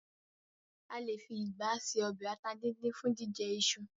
A lè fi ìgbá ṣe ọbẹ ata díndín fun jíjẹ iṣu.